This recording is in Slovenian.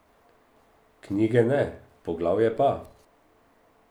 Knjige ne, poglavje pa.